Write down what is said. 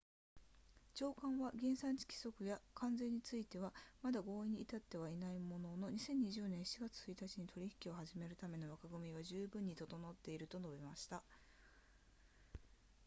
長官は原産地規則や関税についてはまだ合意に至っていないものの2020年7月1日に取引を始めるための枠組みは十分に整っていると述べました